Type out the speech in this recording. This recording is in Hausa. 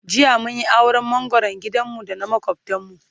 jiya mun Yi auran mangoran gidan mu da na makwaftan mu